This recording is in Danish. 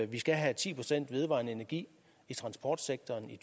vi skal have ti procent vedvarende energi i transportsektoren i